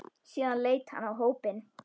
Síðan leit hann á hópinn.